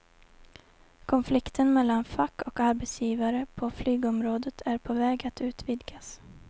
Konflikten mellan fack och arbetsgivare på flygområdet är på väg att utvidgas.